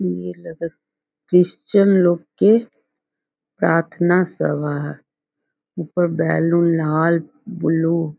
Christian लोग के प्राथना सभा है ऊपर बैलून लाल ब्लू --